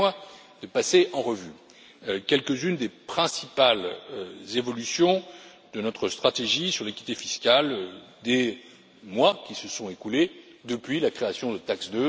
Permettez moi de passer en revue quelques unes des principales évolutions de notre stratégie sur l'équité fiscale au cours des mois qui se sont écoulés depuis la création de TAXE